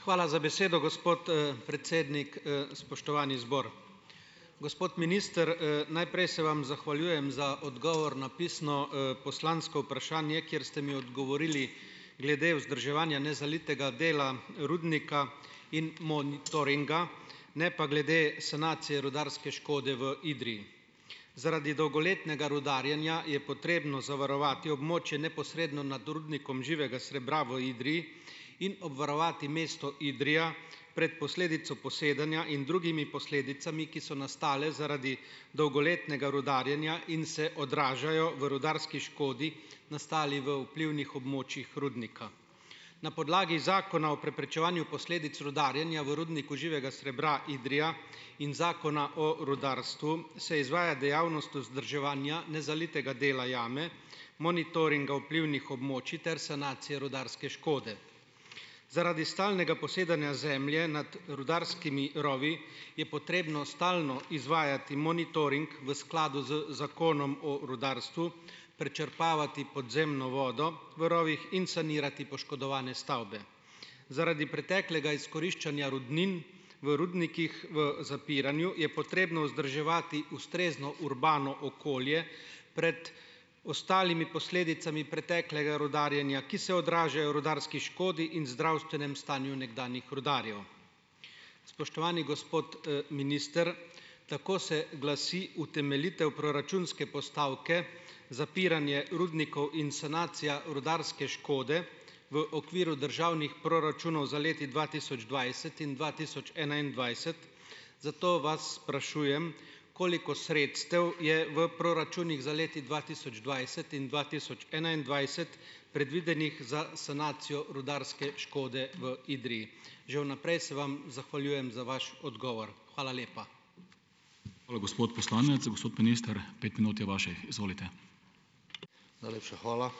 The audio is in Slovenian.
Hvala za besedo, gospod, predsednik. spoštovani zbor. Gospod minister, najprej se vam zahvaljujem za odgovor na pisno, poslansko vprašanje, kjer ste mi odgovorili glede vzdrževanja nezalitega dela rudnika in monitoringa , ne pa glede sanacije rudarske škode v Idriji. Zaradi dolgoletnega rudarjenja je potrebno zavarovati območje neposredno nad rudnikom živega srebra v Idriji in obvarovati mesto Idrija pred posledico posedanja in drugimi posledicami, ki so nastale zaradi dolgoletnega rudarjenja in se odražajo v rudarski škodi, nastali v vplivnih območjih rudnika. Na podlagi Zakona o preprečevanju posledic rudarjenja v rudniku živega srebra Idrija in Zakona o rudarstvu, se izvaja dejavnost vzdrževanja nezalitega dela jame, monitoringa vplivnih območij ter sanacije rudarske škode. Zaradi stalnega posedanja zemlje nad rudarskimi rovi je potrebno stalno izvajati monitoring v skladu z Zakonom o rudarstvu, prečrpavati podzemno vodo v rovih in sanirati poškodovane stavbe. Zaradi preteklega izkoriščanja rudnin v rudnikih v zapiranju je potrebno vzdrževati ustrezno urbano okolje pred ostalimi posledicami preteklega rudarjenja, ki se odražajo v rudarski škodi in zdravstvenem stanju nekdanjih rudarjev. Spoštovani gospod, minister. Tako se glasi utemeljitev proračunske postavke, zapiranje rudnikov in sanacija rudarske škode v okviru državnih proračunov za leti dva tisoč dvajset in dva tisoč enaindvajset, zato vas sprašujem, koliko sredstev je v proračunih za leti dva tisoč dvajset in dva tisoč enaindvajset predvidenih za sanacijo rudarske škode v Idriji? Že v naprej se vam zahvaljujem za vaš odgovor. Hvala lepa. Hvala, gospod poslanec. Gospod minister, pet minut je vaših. Izvolite. Najlepša hvala ...